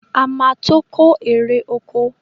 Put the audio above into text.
A ma ma tó kó ère oko